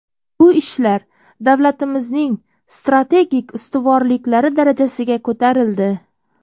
Bu ishlar davlatimizning strategik ustuvorliklari darajasiga ko‘tarildi.